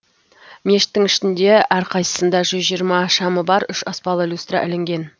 мешіттің ішінде әрқайсысында жүз жиырма шамы бар үш аспалы люстра ілінген